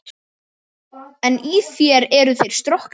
En í þér eru þeir stroknir.